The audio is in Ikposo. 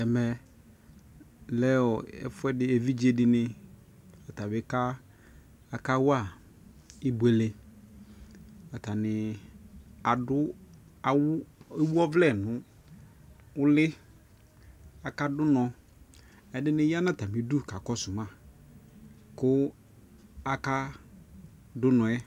Ɛmɛ lɛ ɛfuɛdi ni evidze di ni atabi kawa ibuele Atani adu awu awu ɔvlɛ nʋ uli Akadʋ unɔ, ɛdi ni ya nʋ atamidu kakɔsu ma kʋ akadʋ unɔ yɛ